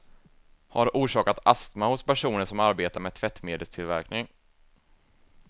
Har orsakat astma hos personer som arbetar med tvättmedelstillverkning.